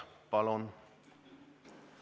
Palun!